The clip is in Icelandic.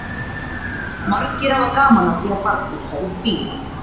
Margir hafa gaman af því að bardúsa við bíla.